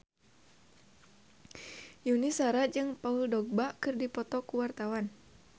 Yuni Shara jeung Paul Dogba keur dipoto ku wartawan